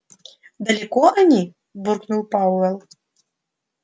далеко они буркнул пауэлл